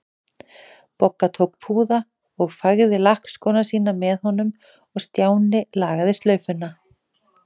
Bogga tók púða og fægði lakkskóna sína með honum og Stjáni lagaði slaufuna.